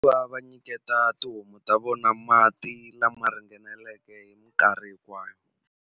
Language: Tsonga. va nyiketa tihomu ta vona mati lama ringaneleke hi minkarhi hinkwayo.